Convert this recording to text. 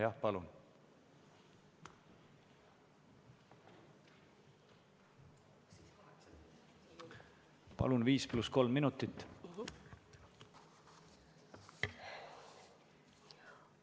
Jah, palun, viis pluss kolm minutit!